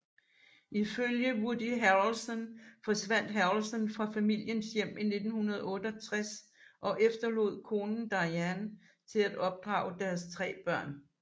Ifølge Woody Harrelson forsvandt Harrelson fra familiens hjem i 1968 og efterlod konen Diane til at opdrage deres tre børn